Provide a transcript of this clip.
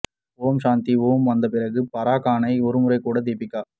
ஓம் சாந்தி ஓம் வந்த பிறகு பாரா கானை ஒருமுறை கூட தீபிகா